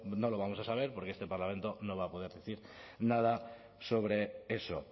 no lo vamos a saber porque este parlamento no va a poder decir nada sobre eso